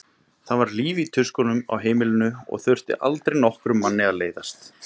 Það var líf í tuskunum á heimilinu og aldrei þurfti nokkrum manni að leiðast.